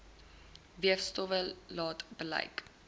weefstowwe laat bleik